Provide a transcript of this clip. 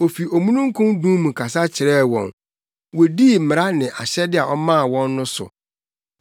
Ofi omununkum dum mu kasa kyerɛɛ wɔn; wodii mmara ne ahyɛde a ɔmaa wɔn no so.